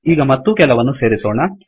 ಈಗ ಮತ್ತೂ ಕೆಲವನ್ನು ಸೇರಿಸೋಣ